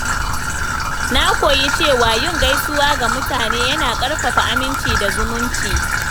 Na koyi cewa yin gaisuwa ga mutane yana ƙarfafa aminci da zumunci.